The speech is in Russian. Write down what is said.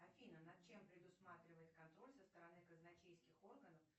афина над чем предусматривает контроль со стороны казначейских органов